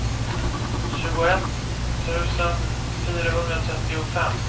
tjugoett tusen fyrahundratrettiofem